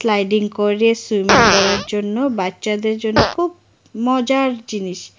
riding করে swimming করার জন্য বাচ্চাদের জন্য খুব মজার জিনিস